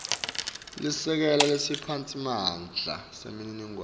lisekela lesiphatsimandla semininingwane